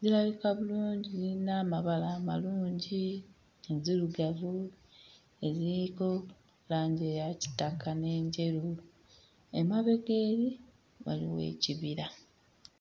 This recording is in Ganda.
Zirabika bulungi, zirina amabala amalungi, nzirugavu eziriko langi eya kitaka n'enjeru; emabega eri waliwo ekibira.